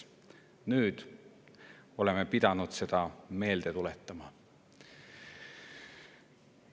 Nüüd oleme pidanud seda meelde tuletama.